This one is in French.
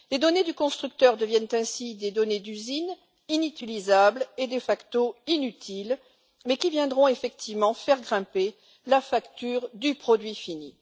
Les données du constructeur deviennent ainsi des données d'usine inutilisables et de facto inutiles, mais qui viendront effectivement faire grimper la facture du produit fini.